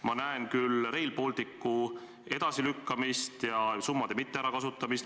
Ma näen küll Rail Balticu edasilükkamist ja summade mitte ära kasutamist.